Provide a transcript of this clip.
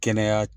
Kɛnɛya